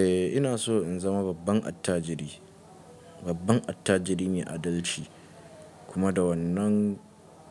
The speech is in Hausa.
Eh ina so in zama babban attajiri, babban attajiri mai a adalci kuma da wannan